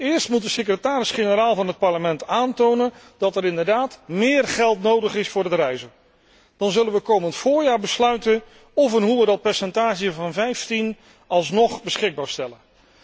Eerst moet de secretaris generaal van het Parlement aantonen dat er inderdaad meer geld nodig is voor het reizen, dan zullen we komend voorjaar besluiten of en hoe we dat percentage van 15 alsnog beschikbaar stellen.